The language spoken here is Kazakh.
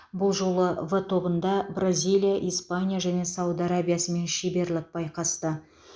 бұл жолы в тобында бразилия испания және сауд арабиясымен шеберлік байқасты